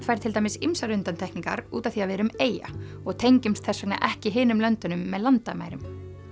fær til dæmis ýmsar undantekningar út af því að við erum eyja og tengjumst þess vegna ekki hinum löndunum með landamærum